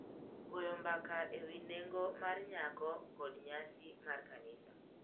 Goyo mbaka ewi nengo mar nyako, kod nyasi mar kanisa.